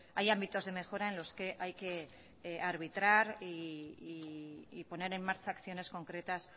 hay ámbitos de mejora en los que hay que arbitrar y poner en marcha acciones concretas